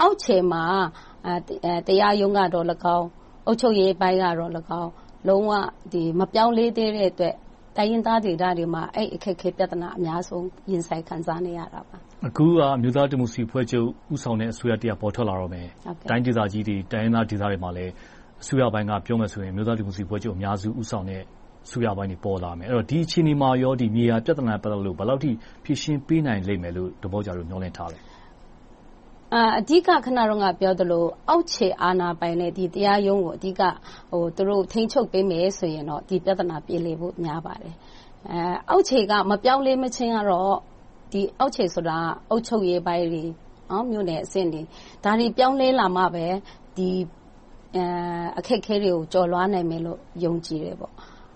အောက်ခြေမှာ တရားရုံးကသော်လည်းကောင်း၊ အုပ်ချုပ်ရေးပိုင်းကသော်လည်းကောင်း၊ လုံးဝမပြောင်းလဲသေးတဲ့အတွက် တိုင်းရင်းသားဒေသတွေမှာ အဲဒီအခက်အခဲ ပြဿနာ အများဆုံး ခံစားနေရတယ်။ အခုက အမျိုးသားဒီမိုကရေစီအဖွဲ့ချုပ် ဦးဆောင်တဲ့ အစိုးရတရပ် ပေါ်ထွက်လာတော့မယ်။ တိုင်းဒေသကြီးတွေ၊ တိုင်းရင်းသားဒေသတွေမှာ အစိုးရပိုင်းကပြောမယ်ဆိုရင် အမျိုးသားဒီမိုကရေစီအဖွဲ့ချုပ် ဦးဆောင်တဲ့ အစိုးရပိုင်းတွေ ပေါ်လာမယ်။ အဲဒီတော့ ဒီအခြေအနေမှာ မြေယာပြဿနာနဲ့ ပတ်သက်လို့ ဘယ်လောက်အထိ ဖြေရှင်းပေးနိုင်လိမ့်မယ်လို့ ဒေါ်ဘောက်ဂျာတို့ မျှော်လင့်ထားလဲ။ အဓိက အခုနပြောသလို အောက်ခြေအာဏာပိုင်တွေ၊ တရားရုံးကို အဓိက ထိန်းချုပ်ပေးမယ်ဆိုရင် ဒီပြဿနာ ပြေလည်ဖို့ များပါတယ်။ အောက်ခြေက မပြောင်းမလဲခြင်းတော့ - အောက်ခြေဆိုတာ အုပ်ချုပ်ရေးပိုင်းတွေ၊ မြို့နယ်အဆင့်တွေ ဒါတွေ ပြောင်းလဲလာမှပဲ ဒီအခက်အခဲတွေကို ကျော်လွှာနိုင်မယ်လို့ ယုံကြည်တယ်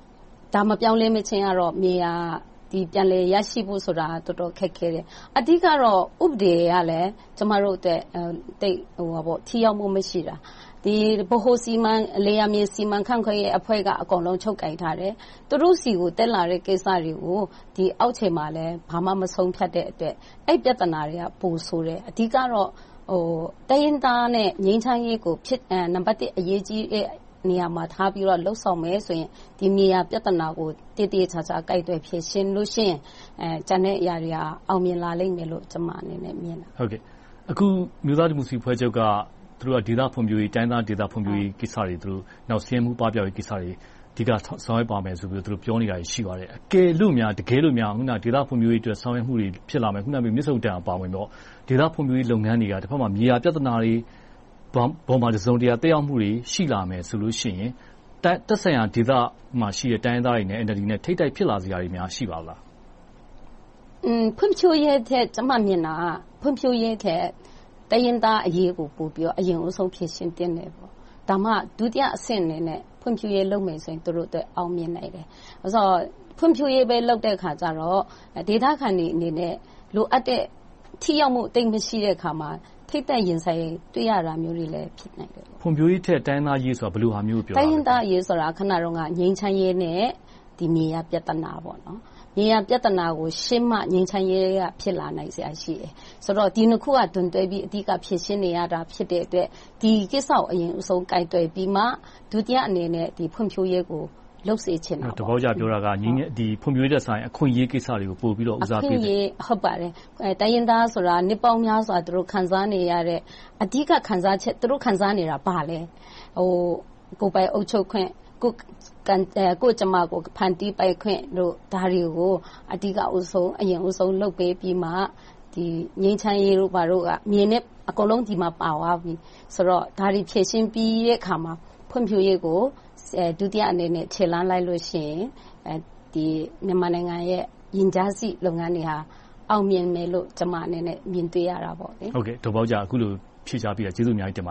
။ ဒါ မပြောင်းမလဲခြင်းတော့ မြေယာပြန်လည်ရရှိဖို့ဆိုတာ တော်တော်ခက်ခဲတယ်။ အဓိကတော့ ဥပဒေကလည်း ကျမတို့အတွက် သိပ်ထိရောက်မှု မရှိတာ။ လယ်ယာမြေစီမံခန့်ခွဲရေးအဖွဲ့က အကုန်လုံး ချုပ်ကိုင်ထားတယ်။ သူတို့ဆီကို တက်လာတဲ့ကိစ္စတွေကို အောက်ခြေမှာလည်း ဘာမှ မဆုံးဖြတ်တဲ့အတွက် အဲဒီပြဿနာတွေက ပိုဆိုးတယ်။ အဓိကတော့ တိုင်းရင်းသားနဲ့ ငြိမ်းချမ်းရေးကို နံပတ်တစ် အရေးကြီးတဲ့နေရာမှာ ထားပြီးတော့ လုပ်ဆောင်မယ်ဆိုရင် ဒီမြေယာပြဿနာကို သေသေချာချာ ကိုင်တွယ်ဖြေရှင်းလို့ရှိရင် ကျန်တဲ့အရာတွေ အောင်မြင်လာလိမ့်မယ်လို့ ကျမအနေနဲ့ မြင်တယ်။ အခု အမျိုးသားဒီမိုကရေစီအဖွဲ့ချုပ်က ဒေသဖွံ့ဖြိုးရေး၊ တိုင်းရင်းသားဒေသဖွံ့ဖြိုးရေးကိစ္စတွေ။ နောက် ဆင်းရဲသားပပျောက်ရေးကိစ္စတွေ အဓိက ဆောင်ရွက်သွားမယ်လို့ ပြောနေတာ ရှိပါတယ်။ တကယ်လို့များ ဒေသဖွံ့ဖြိုးရေးအတွက် ဆောင်ရွက်မှုတွေ ဖြစ်လာမယ်။ မြစ်ဆုံရေကာတာ အပါအဝင်ပေါ့။ ဒေသဖွံ့ဖြိုးရေးလုပ်ငန်းတွေက မြေယာပြဿနာပေါ် တစုံတရာ သက်ရောက်မှုတွေ ရှိလာမယ်ဆိုရင် သက်ဆိုင်ရာဒေသမှာရှိတဲ့ တိုင်းရင်းသားတွေနဲ့ NLD နဲ့ ထိပ်တိုက်ဖြစ်လာစရာတွေ ရှိပါလား။ ဖွံ့ဖြိုးရေးထက် ကျမမြင်တာက တိုင်းရင်းသားအရေးကို အရင်ဖြေရှင်းသင့်တယ်။ ဒါမှ ဒုတိယအဆင့်အနေနဲ့ ဖွံ့ဖြိုးရေးလုပ်မယ်ဆိုရင် သူတို့အတွက် အောင်မြင်နိုင်တယ်။ ဘာဖြစ်လို့လဲဆိုတော့ ဖွံ့ဖြိုးရေးပဲ လုပ်တဲ့အခါကြတော့ ဒေသခံတွေအနေနဲ့ လိုအပ်တဲ့ ထိရောက်မှု သိပ်မရှိတဲ့အခါမှာ ထိပ်တိုက်ရင်ဆိုင် တွေ့ရတာမျိုးတွေ ဖြစ်နိုင်တယ်။ ဖွံ့ဖြိုးရေးထက် တိုင်းရင်းသားအရေးဆိုတာ ဘယ်လိုဟာမျိုးကို ပြောတာလဲ။ တိုင်းရင်းသားအရေးဆိုတာ ငြိမ်းချမ်းရေး နဲ့ မြေယာပြဿနာကို ရှင်းမှ ငြိမ်းချမ်းရေးက ဖြစ်လာစရာရှိတယ်။ ဒီနှစ်ခုက ဒွန်တွဲပြီး အဓိကဖြေရှင်းနေရတာ ဖြစ်တဲ့အတွက် ဒီကိစ္စကို ဦးဆုံးကိုင်တွယ်ပြီးမှ ဒုတိယအနေနဲ့ ဖွံ့ဖြိုးရေးကို လုပ်စေချင်တယ်။ ဒေါ်ဘောက်ဂျာ ပြောတာက ဖွံ့ဖြိုးရေးထက် အခွင့်အရေးကိစ္စတွေကို ပိုပြီးဦးစားပေးဖို့… အခွင့်အရေး ဟုတ်ပါတယ်။ တိုင်းရင်းသားဆိုတာ နှစ်ပေါင်းများစွာ ခံစားနေရတဲ့ အဓိက သူတို့ခံစားနေတာ ဘာလဲ။ ကိုယ်ပိုင်အုပ်ချုပ်ခွင့်။ ကိုယ့်ကြမ္မာကို ကိုယ်ဖန်တီးပိုင်ခွင့်။ ဒါတွေကို အဓိကဦးဆုံး လုပ်ပေးပြီးမှ ငြိမ်ချမ်းရေးတို့ ဘာတို့က အကုန်လုံး ဒီမှာ ပါသွားပြီ။ ဒါတွေ ဖြေရှင်းပြီးတဲ့အခါမှာ ဖွံ့ဖြိုးရေးကို ဒုတိယအနေနဲ့ ခြေလှမ်းလိုက်ရင် မြန်မာနိုင်ငံရဲ့ ရင်ကြားစေ့လုပ်ငန်းတွေ အောင်မြင်မယ်လို့ ကျမအနေနဲ့ မြင်တွေ့ရတယ်။ ဒေါ်ဘောက်ဂျာ အခုလို ဖြေကြားပေးတာ ကျေးဇူးအများကြီးတင်ပါတယ